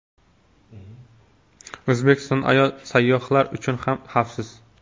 O‘zbekiston ayol sayyohlar uchun ham xavfsiz.